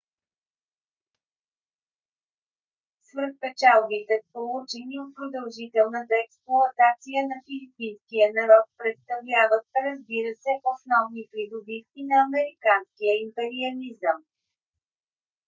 свръхпечалбите получени от продължителната експлоатация на филипинския народ представляват разбира се основни придобивки на американския империализъм